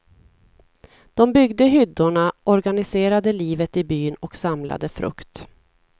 De byggde hyddorna, organiserade livet i byn och samlade frukt.